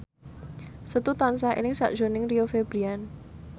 Setu tansah eling sakjroning Rio Febrian